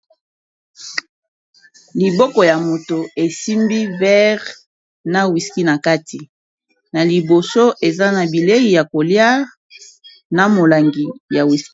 Liboko ya moto esimbi verre na wiski na kati na liboso eza na bilei ya kolia na molangi ya wiski.